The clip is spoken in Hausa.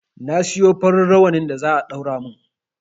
Na siyo farin rawanin da za a ɗaura mun